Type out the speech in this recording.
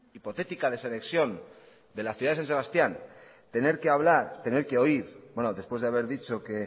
hipotética desanexión de la ciudad de san sebastián tener que oír bueno después de haber dicho que